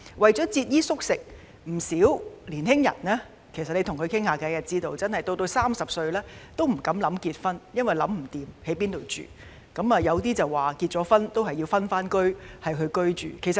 跟青年人傾談後得知，他們節衣縮食，到了30歲仍不敢考慮結婚，因為仍未解決居住問題，有部分人甚至在結婚後仍要分開居住。